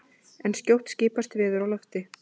en skjótt skipast veður í lofti!